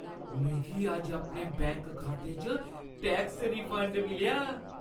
मिगी अज्ज अपने बैंक खाते च टैक्स रिफंड मिलेआ ।